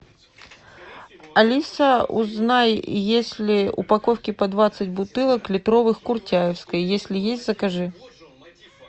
алиса узнай есть ли упаковки по двадцать бутылок литровых куртяевской если есть закажи